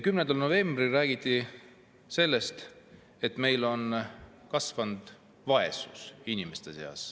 10. novembril räägiti sellest, et inimeste vaesus on kasvanud.